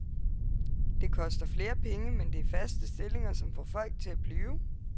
Det koster flere penge, men det er faste stillinger, som får folk til at blive.